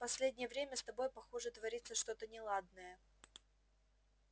последнее время с тобой похоже творится что-то неладное